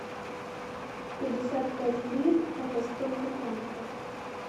пятьдесят пять лир это сколько франков